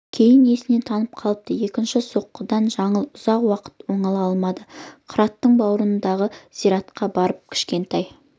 кейін есінен танып қалыпты екінші соққыдан жаңыл ұзақ уақыт оңала алмады қыраттың бауырындағы зиратқа барып кішкентай